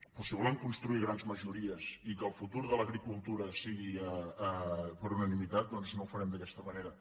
però si volem construir grans majories i que el futur de l’agricultura sigui per unani·mitat doncs no ho farem d’aquesta manera